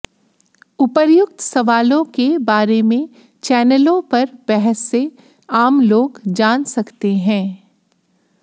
उपर्युक्त सवालों के बारे में चैनलों पर बहस से आम लोग जान सकते हैं